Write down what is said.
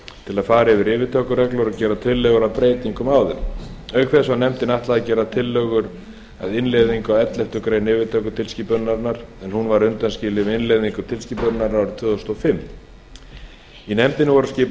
til að fara yfir yfirtökureglur og gera tillögur að breytingum á þeim auk þess var nefndinni ætlað að gera tillögur að innleiðingu á elleftu greinar yfirtökutilskipunarinnar en hún var undanskilin við innleiðingu tilskipunarinnar árið tvö þúsund og fimm í nefndina voru skipaðir